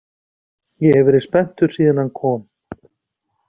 Ég hef verið spenntur síðan hann kom.